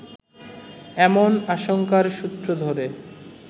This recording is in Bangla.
এমন আশঙ্কার সূত্র ধরে